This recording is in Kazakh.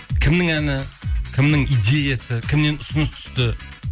кімнің әні кімнің идеясы кімнен ұсыныс түсті